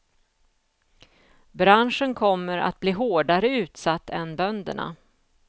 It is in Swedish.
Branschen kommer att bli hårdare utsatt än bönderna.